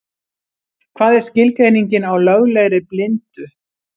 Hvað er skilgreiningin á löglegri blindu?